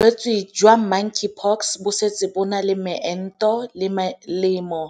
Bolwetse jwa Monkeypox bo setse bo na le meento le melemo